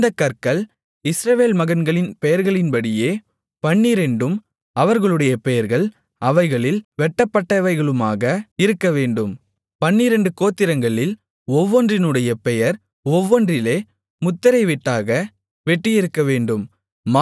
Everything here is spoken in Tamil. இந்தக் கற்கள் இஸ்ரவேல் மகன்களின் பெயர்களின்படியே பன்னிரண்டும் அவர்களுடைய பெயர்கள் அவைகளில் வெட்டப்பட்டவைகளுமாக இருக்கவேண்டும் பன்னிரண்டு கோத்திரங்களில் ஒவ்வொன்றினுடைய பெயர் ஒவ்வொன்றிலே முத்திரைவெட்டாக வெட்டியிருக்கவேண்டும்